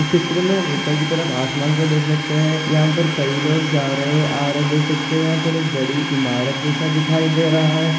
इस चित्र मे हम ऊपर की तरफ आसमान को देख सकते है यहाँ पर कए लोग जा रहे आ रहे देख सकते यहाँ पर एक बड़ी इमारत जैसा दिखाई दे रहा है।